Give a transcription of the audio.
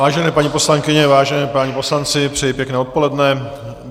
Vážené paní poslankyně, vážení páni poslanci, přeji pěkné odpoledne.